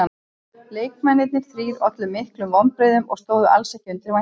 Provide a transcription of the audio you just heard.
Leikmennirnir þrír ollu miklum vonbrigðum og stóðu alls ekki undir væntingum.